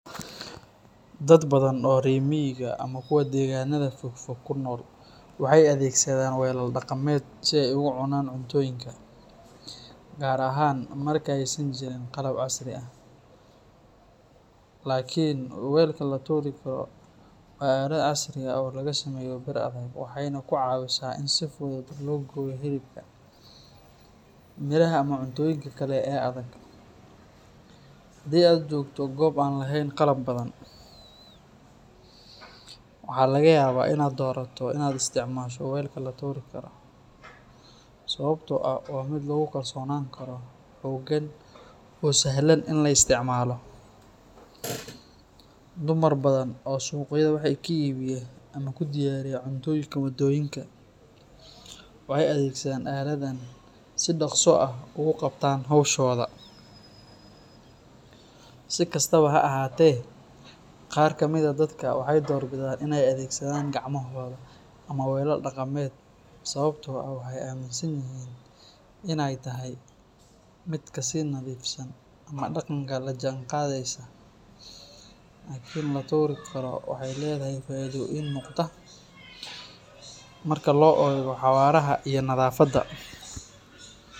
Dad badan oo reer miyiga ama kuwa deegaannada fog fog ku nool waxay adeegsadaan welal dhaqameed si ay ugu cunaan cuntooyinka, gaar ahaan marka aysan jirin qalab casri ah. Laakiin welka laturi Karo waa aalad casri ah oo laga sameeyo bir adag, waxayna ka caawisaa in si fudud loo gooyo hilibka, miraha ama cuntooyinka kale ee adag. Haddii aad joogto goob aan lahayn qalab badan, waxaa laga yaabaa in aad doorato in aad isticmaasho welka laturi Karo, sababtoo ah waa mid lagu kalsoonaan karo, xooggan, oo sahlan in la isticmaalo. Dumar badan oo suuqyada wax ka iibiya ama ku diyaariya cuntooyinka waddooyinka waxay adeegsadaan aaladdan si dhaqso ah ugu qabtaan howshooda. Si kastaba ha ahaatee, qaar ka mid ah dadka waxay doorbidaan in ay adeegsadaan gacmahooda ama welal dhaqameed, sababtoo ah waxay aaminsan yihiin in ay tahay mid ka sii nadiifsan ama dhaqanka la jaanqaadaysa. Laakiin laturi Karo waxay leedahay faa’iidooyin muuqda marka loo eego xawaaraha iyo nadaafadda.